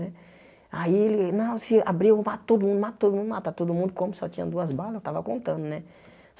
Né aí ele, não, se abrir, eu mato todo mundo, mato todo mundo, mata todo mundo, como só tinha duas balas, eu tava contando, né?